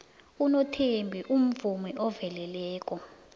unothembi umvumi oveleleko